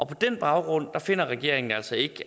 på den baggrund finder regeringen altså ikke